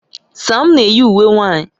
Sam na-eyi uwe nwanyị